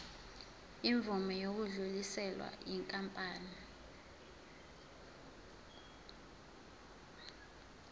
imvume yokudluliselwa yinkampani